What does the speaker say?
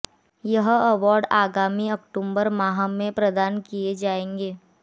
यह अवार्ड आगामी अक्टूबर माह में प्रदान किये जायेंगे